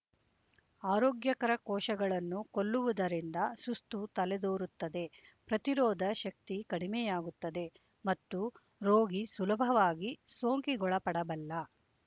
ಆರೋಗ್ಯಕರ ಕೋಶಗಳನ್ನು ಕೊಲ್ಲುವುದರಿಂದ ಸುಸ್ತು ತಲೆದೋರುತ್ತದೆ ಪ್ರತಿರೋಧ ಶಕ್ತಿ ಕಡಿಮೆಯಾಗುತ್ತದೆ ಮತ್ತು ರೋಗಿ ಸುಲಭವಾಗಿ ಸೋಂಕಿಗೊಳಪಡಬಲ್ಲ